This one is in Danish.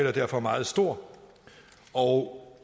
er derfor meget stor og